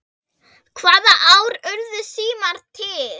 Hvaða ár urðu símar til?